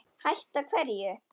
Hætta hverju?